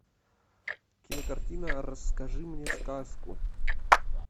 кинокартина расскажи мне сказку